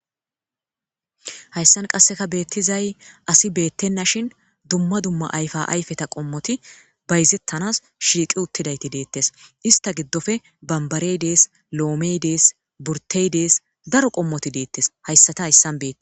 hayssan qasseka beettizay asi beettenna shin dumma dumma ayfa ayfeta qommoti bayzettanas shiiqi uttidayti deettes ista giddofe bambareydees lo7omeydees burteydees daro qommoti deettes hayssata hayssan beetti